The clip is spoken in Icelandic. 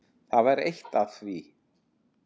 Þetta var eitt af því.